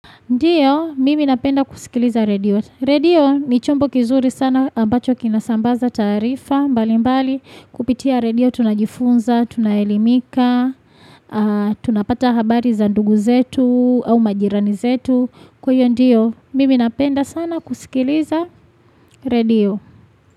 Ndiyo, mimi napenda kusikiliza radio. Radio ni chombo kizuri sana ambacho kinasambaza taarifa. Mbalimbali, kupitia radio tunajifunza, tunaelimika, tunapata habari za ndugu zetu au majirani zetu. Kuyo ndiyo, mimi napenda sana kusikiliza radio.